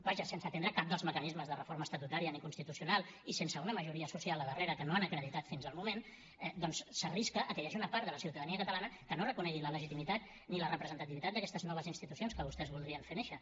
vaja sense atendre cap dels mecanismes de reforma estatutària ni constitucional i sense una majoria social al darrere que no han acreditat fins al moment doncs s’arrisca a que hi hagi una part de la ciutadania catalana que no reconegui la legitimitat ni la representativitat d’aquestes noves institucions que vostès voldrien fer néixer